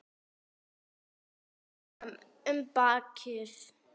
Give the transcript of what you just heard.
Strýkur honum um bakið.